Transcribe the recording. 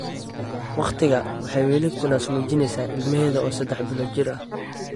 Waqtigaa, waxay weli ku naas-nuujinaysay ilmaheeda oo saddex bilood jir ah.